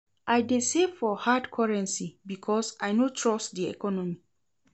I dey save for hard currency because I no trust di economy.